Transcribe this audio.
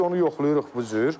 Biz onu yoxlayırıq bu cür.